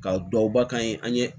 Ka duwawuba kan an ye